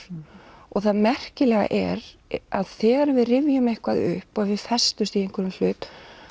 og það merkilega er að þegar við rifjum eitthvað upp og við festumst í einhverjum hlut